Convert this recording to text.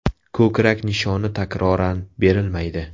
Ko‘krak nishoni takroran berilmaydi.